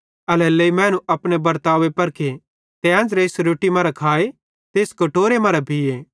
एल्हेरेलेइ मैनू अपने बर्तावे परखे ते एन्च़रे इस रोट्टी मरां खाए ते इस कटोरे मरां पीये